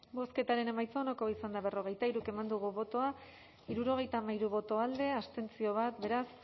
bozketaren emaitza onako izan da hirurogeita hamalau eman dugu bozka hirurogeita hamairu boto alde bat abstentzio beraz